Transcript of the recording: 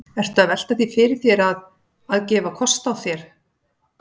Ertu að velta því fyrir þér að, að gefa kost á þér?